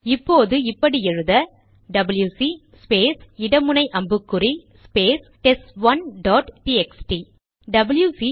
இப்போது இப்படி எழுத டபில்யுசி ஸ்பேஸ் இட முனை அம்புக்குறி space test one dot T X T WC